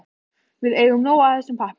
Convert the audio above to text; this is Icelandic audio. Við eigum nóg af þessum pappír.